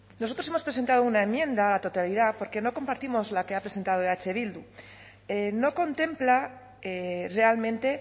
nosotros hemos presentado una enmienda a la totalidad porque no compartimos la que ha presentado eh bildu no contempla realmente